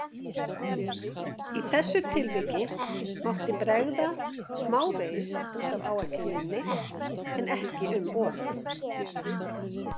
Í þessu tilviki mátti bregða smávegis út af áætluninni en ekki um of.